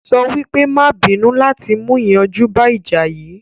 Sọ wípé "má à bínú" láti mú ìyanjú bá ìjà yìí